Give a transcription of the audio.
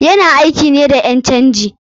Yana aiki ne da ƴan canji.